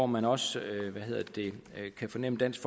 man også fornemme dansk